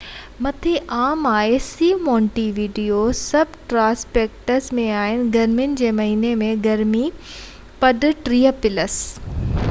Monte video subtropics م آهي. گرمين جي مهينن ۾، گرمي پد +30°c کان مٿي عام آهي